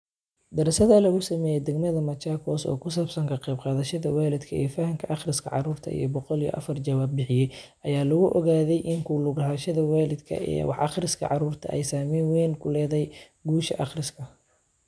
Daraasad lagu sameeyay degmada Machakos oo ku saabsan ka qayb qaadashada waalidka ee fahamka akhriska carruurta, iyo boqol iyo afaar jawaab bixiye, ayaa lagu ogaaday in ku lug lahaanshaha waalidku ee wax-akhrinta carruurta ay saamayn weyn ku leedahay guusha akhriska.